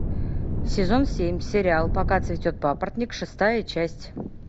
сезон семь сериал пока цветет папоротник шестая часть